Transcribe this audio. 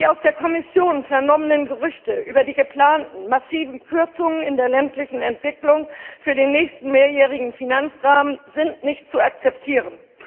Die aus der Kommission vernommenen Gerüchte über die geplanten massiven Kürzungen in der ländlichen Entwicklung für den nächsten mehrjährigen Finanzrahmen sind nicht zu akzeptieren.